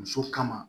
Muso kama